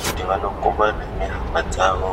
kuti vanokumana nehama dzavo.